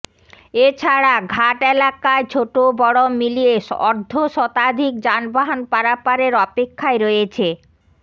এ ছাড়া ঘাট এলাকায় ছোট বড় মিলিয়ে অর্ধশতাধিক যানবাহন পারাপারের অপেক্ষায় রয়েছে